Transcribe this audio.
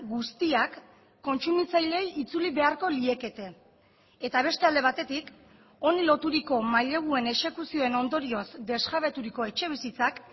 guztiak kontsumitzaileei itzuli beharko liekete eta beste alde batetik honi loturiko maileguen exekuzioen ondorioz desjabeturiko etxebizitzak